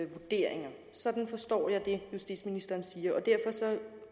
vurderinger sådan forstår jeg det justitsministeren siger